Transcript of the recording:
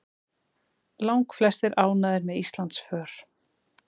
Langflestir ánægðir með Íslandsför